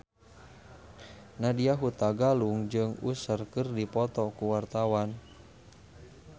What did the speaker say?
Nadya Hutagalung jeung Usher keur dipoto ku wartawan